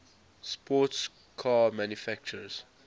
sports car manufacturers